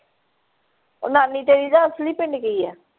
ਉਹ ਨਾਨੀ ਤੇਰੀ ਦਾ ਅਸਲੀ ਪਿੰਡ ਕੀ ਹੈ।